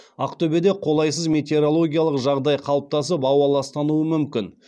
ақтөбеде қолайсыз метеорологиялық жағдай қалыптасып ауа ластануы мүмкін